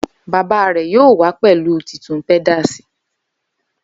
Baba rẹ yoo wa pẹlu titun pedals